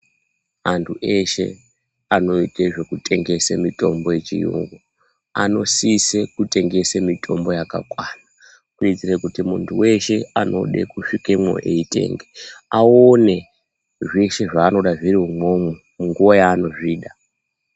Antu eshe anoite zvekutengese mitombo yechiyungu anosise kutengese mitombo yakakwana, kuitire kuti munthu weshe anode kusvikemwo eitenga aone zveshe zvaanoda zviro umwomwo munguwa yaanozvida.